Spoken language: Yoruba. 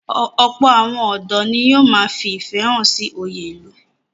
Ọ̀pọ̀ àwọn ọ̀dọ́ ni yóò ma fi ìfẹ́ hàn sí oyè ìlú.